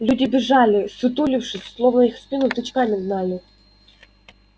люди бежали ссутулившись словно их в спину тычками гнали